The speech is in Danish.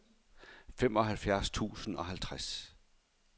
femoghalvfems tusind og halvtreds